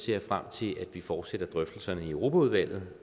jeg frem til at vi fortsætter drøftelserne i europaudvalget